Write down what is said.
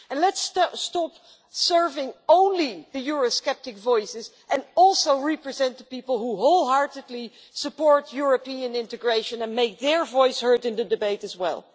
Let's stop serving only the eurosceptic voices and also represent the people who wholeheartedly support European integration and make their voices heard in the debate as well.